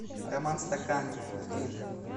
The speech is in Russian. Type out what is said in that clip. роман стаканкин